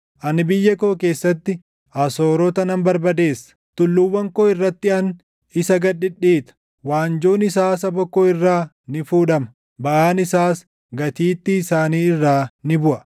Ani biyya koo keessatti Asoorota nan barbadeessa; tulluuwwan koo irratti ani isa gad dhidhiita. Waanjoon isaa saba koo irraa ni fuudhama; baʼaan isaas gatiittii isaanii irraa ni buʼa.”